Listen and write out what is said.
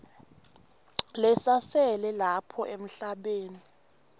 lesasele lapha emhlabeni